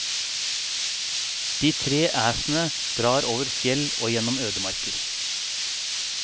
De tre æsene drar over fjell og gjennom ødemarker.